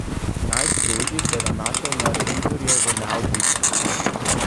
Najstrožji se je nanašal na revizorjevo neodvisnost.